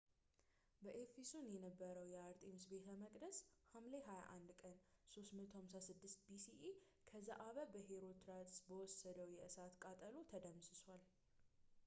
በኤፈሶስ የነበረው የአርጤምስ ቤተ መቅደስ ሐምሌ 21 ቀን 356 bce ከዘአበ በሄሮስትራስ በወሰደው የእሳት ቃጠሎ ተደምስሷል